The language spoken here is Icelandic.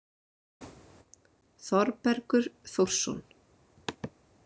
Þorbergur Þórsson.